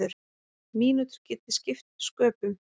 Mínútur geti skipt sköpum.